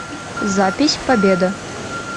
запись победа